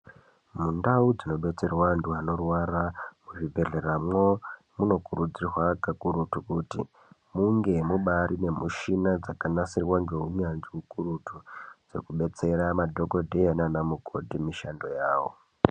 Mundau dzinobetsirwa antu anorwara muzvibhehleramwo munokurudzirwa kakurutu kuti munge mubari nemishina dzakanasirwa ngeunyanzvi ukurutu dzekubetsera madhokodheya nana mukoti mishando yawo.